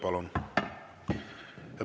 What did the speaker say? Palun!